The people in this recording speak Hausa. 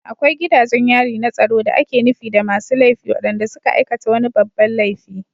Akwai gidajen yari na tsaro da ake nufi da masu laifi waɗanda suka aikata wani babban laifi